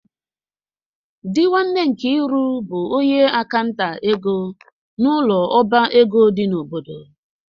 Di nwanne Nkiru bu onye akanta ego n'ulo oba ego di n'obodo.